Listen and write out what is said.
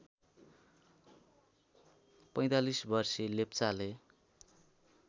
५४ वर्षीय लेप्चाले